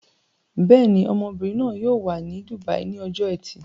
Bẹ́ẹ̀ ni, ọmọbìnrin náà yóò wà ní dùbàí ní ọjọ́ ẹtì.